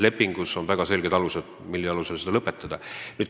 Lepingus on väga selged alused, mille põhjal saab selle lõpetada.